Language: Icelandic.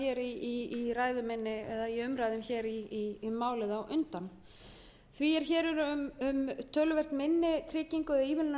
inn á í umræðum um málið því er hér um töluvert minni tryggingu eða ívilnun að ræða en í fyrri fjárfestingarsamningum hvað